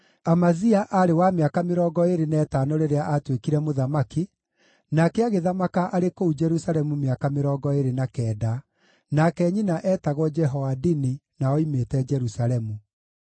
Amazia aarĩ wa mĩaka mĩrongo ĩĩrĩ na ĩtano rĩrĩa aatuĩkire mũthamaki, nake agĩthamaka arĩ kũu Jerusalemu mĩaka mĩrongo ĩĩrĩ na kenda, nake nyina eetagwo Jehoadini na oimĩte Jerusalemu.